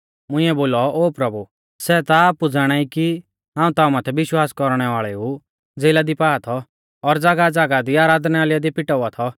मुंइऐ बोलौ ओ प्रभु सै ता आपु ज़ाणाई कि हाऊं ताऊं माथै विश्वास कौरणै वाल़ेऊ ज़ेला दी पा थौ और ज़ागाहज़ागाह दी आराधनालय दी पिटावा थौ